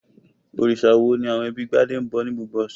Òrìṣà wo ni àwọn ẹbí Gbadé ń bọ ní gbogbo ọ̀sẹ̀?